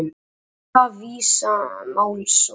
Hóta Visa málsókn